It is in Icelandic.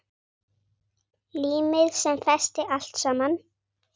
Límið sem festi allt saman.